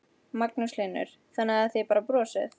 Magnús Hlynur: Þannig að þið bara brosið?